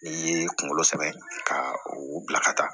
N'i ye kunkolo sɛbɛn ka u bila ka taa